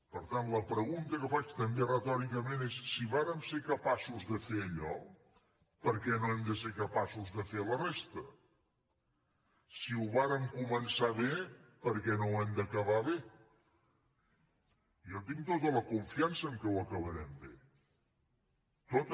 per tant la pregunta que faig també retòricament és si vàrem ser capaços de fer allò per què no hem de ser capaços de fer la resta si ho vàrem començar bé per què no ho hem d’acabar bé jo tinc tota la confiança que ho acabarem bé tota